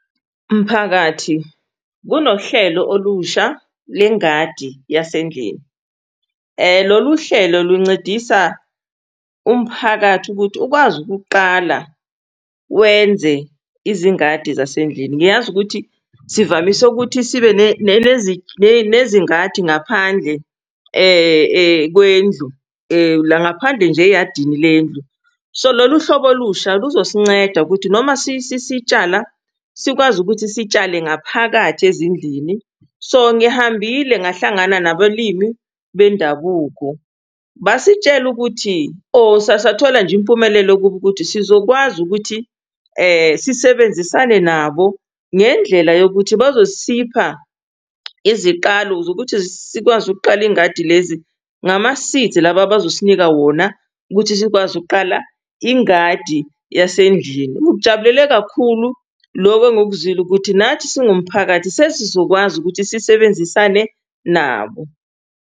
Mphakathi, kunohlelo olusha lengadi yasendlini, lolu hlelo luncedisa umphakathi ukuthi ukwazi ukuqala wenze izingadi zasendlini. Ngiyazi ukuthi sivamise ukuthi sibe nezingadi ngaphandle, kwendlu la ngaphandle nje eyadini lendlu, so lolu hlobo olusha luzosinceda ukuthi noma sitshala, sikwazi ukuthi sitshale ngaphakathi ezindlini. So ngihambile ngahlangana nabalimi bendabuko, basitshela ukuthi, or sathola nje impumelelo kubo ukuthi sizokwazi ukuthi sisebenzisane nabo ngendlela yokuthi bazosipha iziqalo zokuthi sikwazi ukuqala ingadi lezi ngama-seeds laba abazosinika wona ukuthi sikwazi ukuqala ingadi yasendlini. Ngikujabulele kakhulu loku engikuzwile ukuthi nathi singumphakathi sesizokwazi ukuthi sisebenzisane nabo.